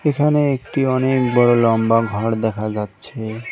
এখানে একটি অনেক বড় লম্বা ঘর দেখা যাচ্ছে।